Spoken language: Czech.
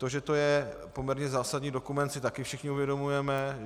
To, že to je poměrně zásadní dokument, si taky všichni uvědomujeme.